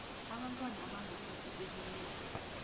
abantwana abangaphasi kweminyaka